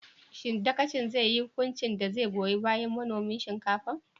Shin dagacin zai yi hukunci da zai goyon bayan manomin shinkafar?